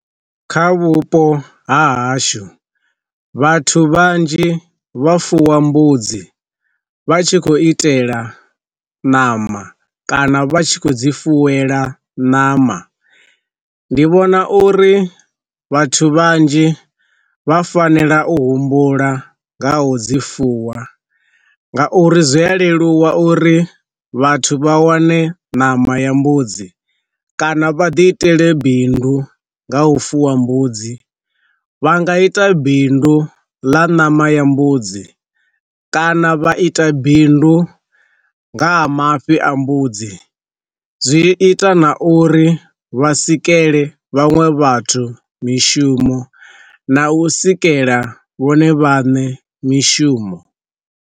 Kha vhupo ha hashu, vhathu vhanzhi vha fuwa mbudzi vha tshi khou itela ṋama kana vha tshi khou dzi funela ṋama, ndi vhona uri vhathu vhanzhi vha fanela u humbula nga ho dzi fuwa nga uri zwi a leluwa uri vhathu vha wane nama ya mbudzi kana vha ḓi itele bindu nga u fuwa mbudzi. Vha nga ita bindu ḽa ṋama ya mbudzi kana vha ita bindu nga ha mafhi a mbudzi zwi ita na uri vha sikele vhaṅwe vhathu mishumo na u sikela vhone vhaṋe mishumo.